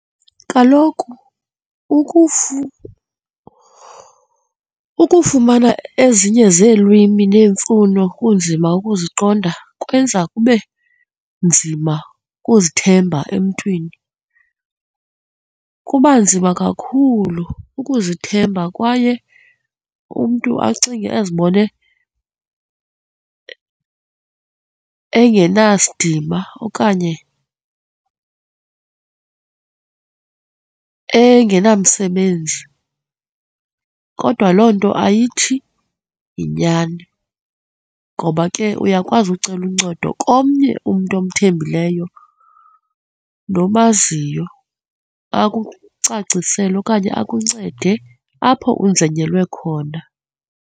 Kaloku ukufumana ezinye zeelwimi neemfuno kunzima ukuziqonda kwenza kube nzima ukuzithemba emntwini. Kuba nzima kakhulu ukuzithemba kwaye umntu acinge azibone engenasidima okanye engenamsebenzi. Kodwa loo nto ayithi yinyani ngoba ke uyakwazi ucela uncedo komnye umntu omthembileyo nomaziyo, akucacisele okanye akuncede apho unzinyelwe khona.